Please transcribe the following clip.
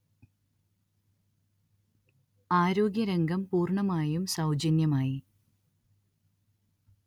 ആരോഗ്യരംഗം പൂർണ്ണമായും സൗജന്യമായി